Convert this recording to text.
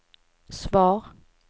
svar